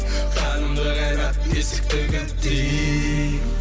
қанымды қайнат есікті кілттей